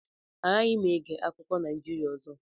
Agaghị m ege akụkọ Naijirịa ọzọ